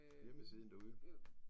Hjemmesiden derude